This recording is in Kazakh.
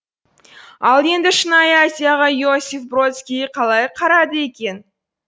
ал енді шынайы азияға иосиф бродский қалай қарады екен